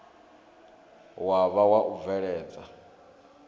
wa vha wa u bveledza